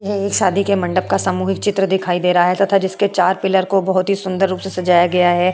यह एक शादी के मंडप का सामूहिक चित्र दिखाई दे रहा है तथा इसके चार पिलर को बोहोत ही सुन्दर रूप से सजाया गया है।